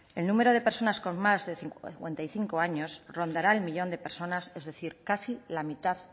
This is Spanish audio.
el número de personas con más de cincuenta y cinco años rondará uno millón de personas es decir casi la mitad